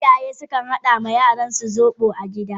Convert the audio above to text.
Iyaye sukan hada ma yaransu zobo a gida.